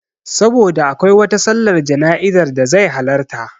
Saboda akwai wata sallar jana'izar da zai halarta